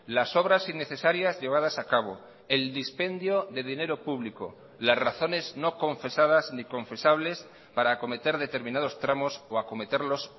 las obras innecesarias llevadas acabo el dispendio de dinero público las razones no confesadas ni confesables para acometer determinados tramos o acometerlos